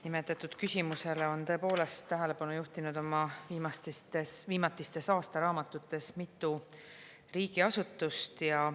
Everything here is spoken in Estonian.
Nimetatud küsimusele on tõepoolest tähelepanu juhtinud oma viimatistes aastaraamatutes mitu riigiasutust.